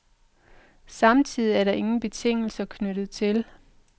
Samtidig er der ingen betingelser knyttet til.